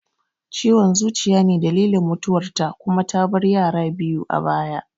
Ciwon zuciya ne dalilin mutuwar ta kuma ta bar yara biyu a baya